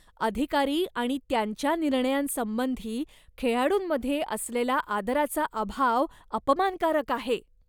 अधिकारी आणि त्यांच्या निर्णयांसंबंधी खेळाडूंमध्ये असलेला आदराचा अभाव अपमानकारक आहे.